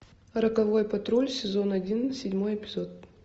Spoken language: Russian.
роковой патруль сезон один седьмой эпизод